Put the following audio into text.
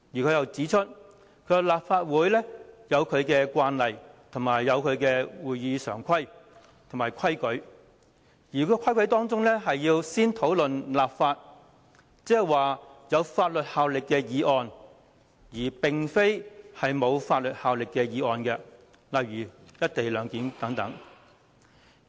他亦指出，立法會有其慣例、會議常規和規則，要先討論有法律效力的議案，而並非沒有法律效力的議案，例如"一地兩檢"等。